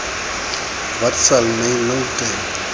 wat sal my nou te